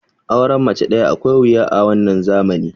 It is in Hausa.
auren mace daya akwai wuya a wannan zamani